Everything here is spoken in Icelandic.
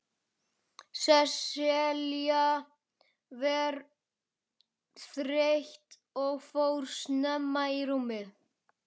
Sesselja var þreytt og fór snemma í rúmið.